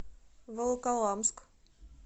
волоколамск